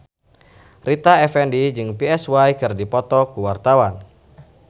Rita Effendy jeung Psy keur dipoto ku wartawan